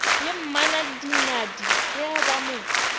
le mmanadinadi ge ba mo